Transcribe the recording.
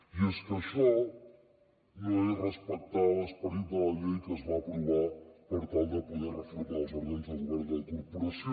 i és que això no és respectar l’esperit de la llei que es va aprovar per tal de poder reformar els òrgans de govern de la corporació